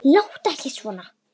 Láttu ekki svona